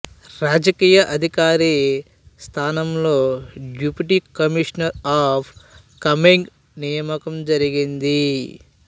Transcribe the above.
రాజకీయ అధికరి స్థానంలో డెఫ్యూటీ కమీషనర్ ఆఫ్ కమెంగ్ నియామకం జరిగింది